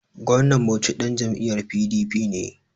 Gwamnan Bauchi ɗan jam'iyyar PDP ne.